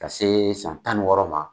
Ka see san tan ni wɔɔrɔ ma